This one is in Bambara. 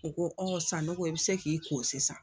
U ko Sanogo i be se k'i ko sisan